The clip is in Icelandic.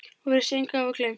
Og virðist engu hafa gleymt.